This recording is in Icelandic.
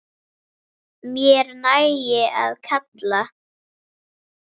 Mér nægir að kalla.